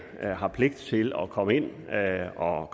har pligt til at komme ind og